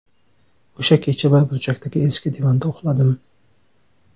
O‘sha kecha bir burchakdagi eski divanda uxladim.